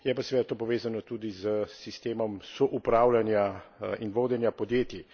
Je pa seveda to povezano tudi s sistemom soupravljanja in vodenja podjetij.